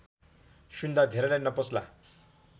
सुन्दा धेरैलाई नपच्ला